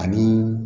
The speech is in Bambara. A bi